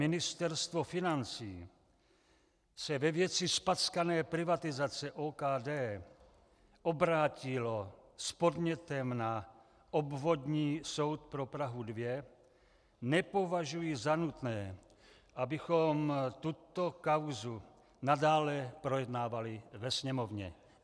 Ministerstvo financí se ve věci zpackané privatizace OKD obrátilo s podnětem na Obvodní soud pro Prahu 2, nepovažuji za nutné, abychom tuto kauzu nadále projednávali ve Sněmovně.